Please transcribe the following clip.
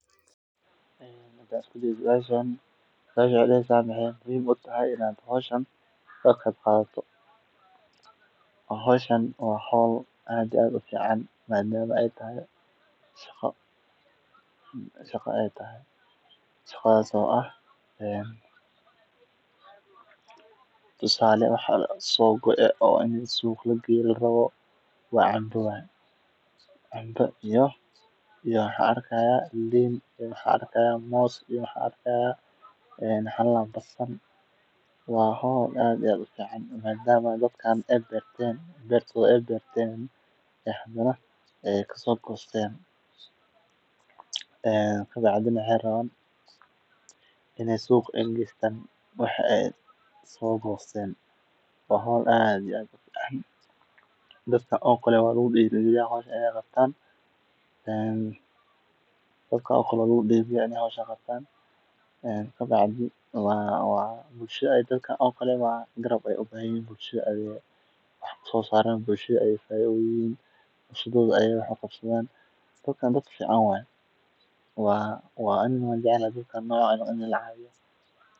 suuqa u gaarto iyadoo weli cusub ah, taasoo kordhisa fursadda iibkeeda. Gaariga khudradda lagu qaado wuxuu sidoo kale siinayaa beeraleyda xorriyad ay ku suuq-geeyaan dalaggooda, taasoo si toos ah u wanaajisa dakhliga iyo horumarka noloshooda. Marka la eego dhanka ganacsiga, gaarigan waa aalad muhiim u ah isku xirka beeraleyda, suuqyada iyo macaamiisha.